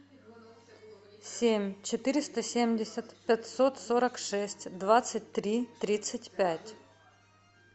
семь четыреста семьдесят пятьсот сорок шесть двадцать три тридцать пять